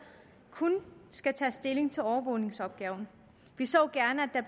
kun skal tage stilling til overvågningsopgaven vi så gerne